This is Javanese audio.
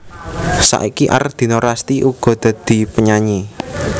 Saiki Ardina Rasti uga dadi penyanyi